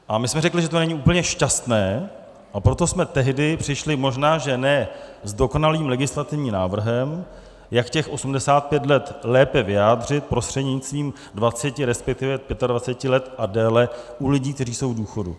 A my jsme řekli, že to není úplně šťastné, a proto jsme tehdy přišli možná že ne s dokonalým legislativním návrhem, jak těch 85 let lépe vyjádřit prostřednictvím 20, resp. 25 let a déle u lidí, kteří jsou v důchodu.